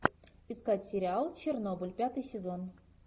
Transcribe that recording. искать сериал чернобыль пятый сезон